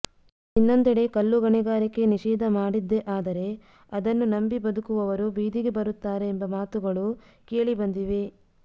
ಇನ್ನೊಂದೆಡೆ ಕಲ್ಲುಗಣಿಗಾರಿಕೆ ನಿಷೇಧ ಮಾಡಿದ್ದೇ ಆದರೆ ಅದನ್ನು ನಂಬಿ ಬದುಕುವವರು ಬೀದಿಗೆ ಬರುತ್ತಾರೆ ಎಂಬ ಮಾತುಗಳು ಕೇಳಿ ಬಂದಿವೆ